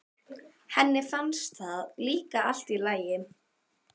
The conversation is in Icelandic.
Henni finnst það líka allt í lagi.